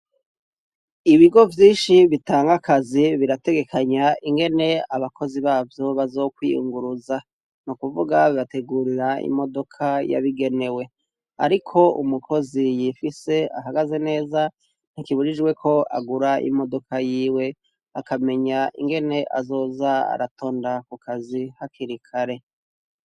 Ibigo vyinshi bitangakazi birategekanya ingene abakozi bavyo bazokwiyunguruza nu kuvuga bbategurira imodoka yabigenewe, ariko umukozi yifise ahagaze neza ntikiburijweko agura imodoka yiwe akamenya ingene azoza aratonda ku kazi ha kirikare.